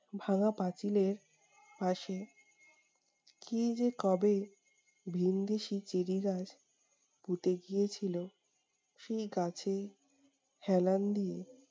ভাঙা পাঁচিলের পাশে কী যে কবে ভিনদেশী চেরি গাছ পুঁতে গিয়েছিলো, সেই গাছে হেলান দিয়ে